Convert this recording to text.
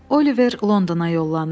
Oliver Londona yollanır.